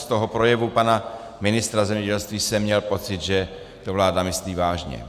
Z toho projevu pana ministra zemědělství jsem měl pocit, že to vláda myslí vážně.